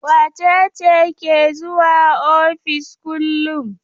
Wace ce ke zuwa ofis kullum?